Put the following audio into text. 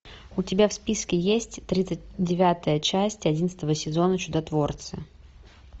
у тебя в списке есть тридцать девятая часть одиннадцатого сезона чудотворцы